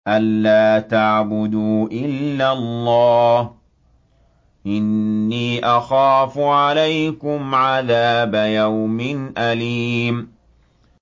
أَن لَّا تَعْبُدُوا إِلَّا اللَّهَ ۖ إِنِّي أَخَافُ عَلَيْكُمْ عَذَابَ يَوْمٍ أَلِيمٍ